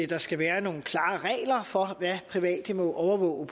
der skal være nogle klare regler for hvad private må overvåge